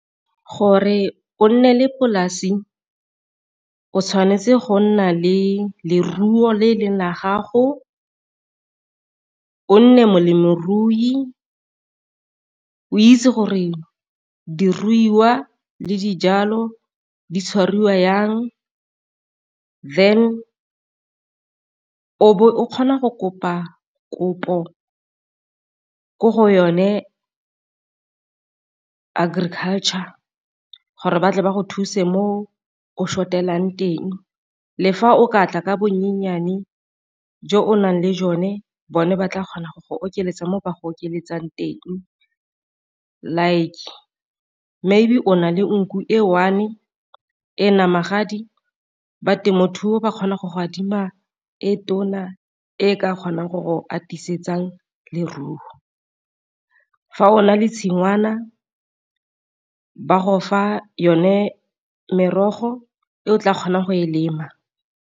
Gore o nne le polasi o tshwanetse go nna le leruo le e leng la gago, o nne molemirui o itse gore diruiwa le dijalo di tshwarwa jang, then o be o kgona go kopa kopo ko go yone agriculture gore batle ba go thuse mo o short-elang teng le fa o ka tla ka bonyenyane jo o nang le jone bone ba tla kgona go go okeletsa mo ba go oketsang teng. Like maybe o na le nku e one e e na magadi ba temothuo ba kgona go go adima e tona e ka kgonang gore atisetsang leruo. Fa o na le tshingwana ba go fa yone merogo e o tla kgonang go e lema.